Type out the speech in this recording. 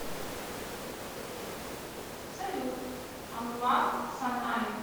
салют анвар санаев